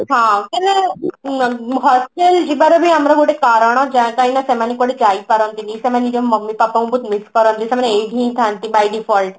ହଁ ତେବେ hostel ଯିବାର ବି ଆମର ଗୋଟେ କାରଣ ଯା କାଇଁ ନା ସେମାନେ କୁଆଡେ ଯାଇ ପାରନ୍ତି ନି ସେମାନେ ନିଜର mommy ବାପାଙ୍କୁ ବହୁତ miss କରନ୍ତି ସେମାନେ ଏଇଠି ହିଁ ଥାଆନ୍ତି by default